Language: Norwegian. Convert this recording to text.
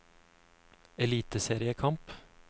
eliteseriekamp